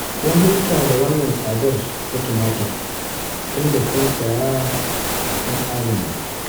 Kun huta da wannan tsadar ta tumatir, tunda kun riga kun saya kun adana